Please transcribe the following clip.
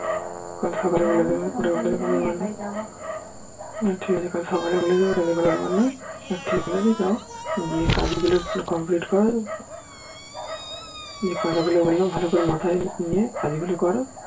কাল সকালে বলে দেব ঠিক আছে কাল সকালে যাও গিয়ে কাজ গুলো complete করো যে কথা গুলো বললাম ভালো করে মাথায় নিয়ে কাজ গুলো করো